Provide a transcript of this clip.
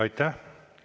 Aitäh!